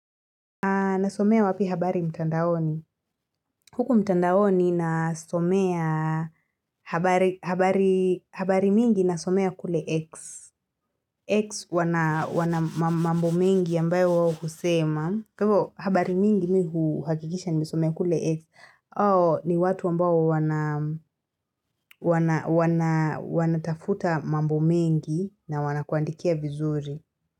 Nasomea wapi habari mtandaoni? Huku mtandaoni nasomea habari habari mingi nasomea kule X. X wana wana mambo mengi ambayo wao kusema. Habari mingi mimi huhakikisha nimesomea kule X. Ni watu ambao wana wana tafuta mambo mengi na wanakuandikia vizuri.